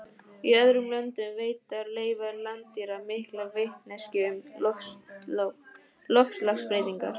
Í öðrum löndum veita leifar landdýra mikla vitneskju um loftslagsbreytingar.